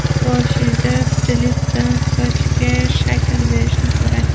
Boshida stilistdan sochga shakl berishni so‘rang.